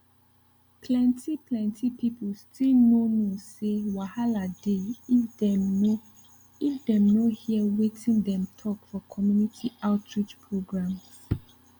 plenty plenty people still no know say wahala dey if dem nor if dem nor hear wetin dem talk for community outreach programs